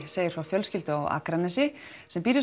segir frá fjölskyldu á Akranesi sem býr við